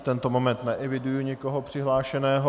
V tento moment neeviduji nikoho přihlášeného.